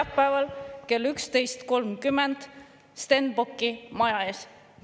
… neljapäeval kell 11.30 Stenbocki maja ees.